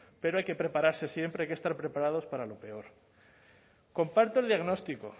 pero hay que prepararse siempre hay que estar preparados para lo peor comparto el diagnóstico